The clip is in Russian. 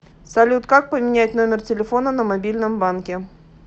салют как поменять номер телефона на мобильном банке